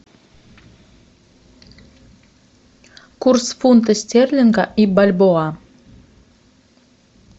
курс фунта стерлинга и бальбоа